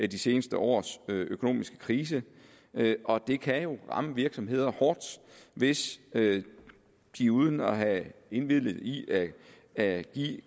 de seneste års økonomiske krise og det kan jo ramme virksomheder hårdt hvis de uden at have indvilliget i at give